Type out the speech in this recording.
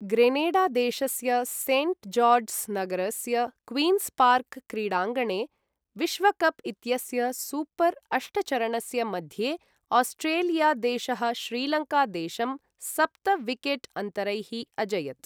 Granada देशस्य Saint George's नगरस्य Queen's park क्रीडाङ्गणे विश्वकप् इत्यस्य सुपर् अष्टचरणस्य मध्ये आस्ट्रेलिया देशः श्रीलङ्का देशं सप्त विकेट् अन्तरैः अजयत्।